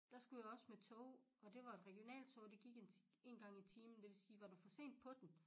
Der skulle jeg også med tog og det var et regionaltog og det gik en én gang i timen og det vil sige var du for sen på den